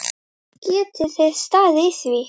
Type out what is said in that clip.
Geti þið staðið á því?